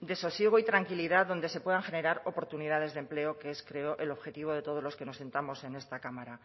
de sosiego y tranquilidad donde se puedan generar oportunidades de empleo que es creo el objetivo de todos los que nos sentamos en esta cámara